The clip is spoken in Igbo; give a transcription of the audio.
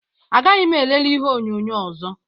Agaghị m elele ihe onyonyo ọzọ.